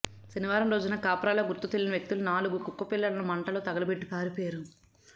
శనివారం రోజున కాప్రాలో గుర్తుతెలియని వ్యక్తులు నాలుగు కుక్కపిలల్లను మంటల్లో తగలబెట్టి పారిపోయారు